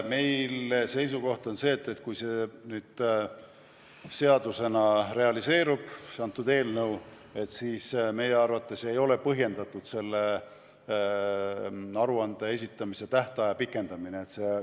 Meie seisukoht on see, et kui eelnõu seadusena vastu võetakse, siis ei ole selle aruande esitamise tähtaja pikendamine põhjendatud.